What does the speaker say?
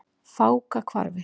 Fákahvarfi